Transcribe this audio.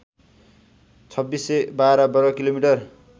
२६१२ वर्ग किलोमिटर